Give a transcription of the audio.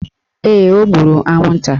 Ee, o gburu anwụnta